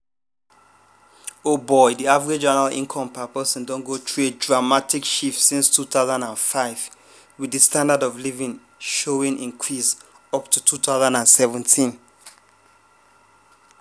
di average annual income per person don go through a dramatic shift since 2005 wit di standard of living showing increase up to 2017.